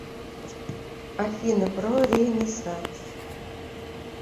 афина про ренессанс